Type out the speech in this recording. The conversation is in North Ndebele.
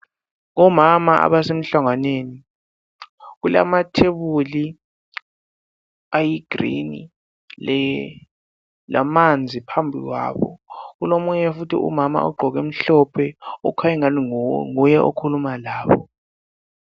Omama abasemhlanganweni, kulamathebuli ayi green lamanzi phambi kwabo, kulomunye futhi umama ogqoke okumhlophe okhanya engani nguye okhuluma labo.